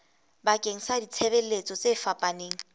bakeng sa ditshebeletso tse fapaneng